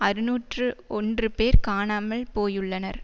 அறுநூற்று ஒன்று பேர் காணாமல் போயுள்ளனர்